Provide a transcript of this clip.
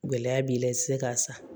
Gɛlɛya b'i la i ti se k'a san